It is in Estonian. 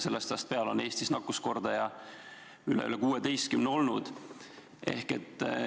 Sellest ajast peale on Eestis olnud nakkuskordaja üle 16.